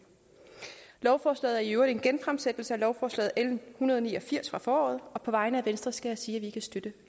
lovforslaget er i øvrigt en genfremsættelse af lovforslag l en hundrede og ni og firs fra foråret og på vegne af venstre skal jeg sige at vi kan støtte